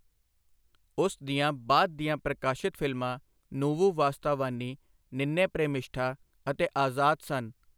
ਉਸ ਦੀਆਂ ਬਾਅਦ ਦੀਆਂ ਪ੍ਰਕਾਸ਼ਿਤ ਫ਼ਿਲਮਾਂ ਨੂਵੁ ਵਾਸਤਾਵਾਨੀ, ਨਿੰਨੇ ਪ੍ਰੇਮਿਸ਼ਠਾ ਅਤੇ ਆਜ਼ਾਦ ਸਨ।